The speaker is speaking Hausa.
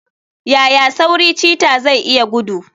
Yaya sauri cheetah zai iya gudu?